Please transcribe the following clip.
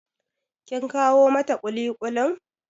Kin kawo mata ƙuliƙulin?